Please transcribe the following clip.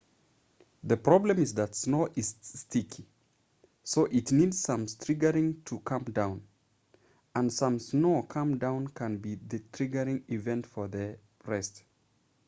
the problem is that snow is sticky so it needs some triggering to come down and some snow coming down can be the triggering event for the rest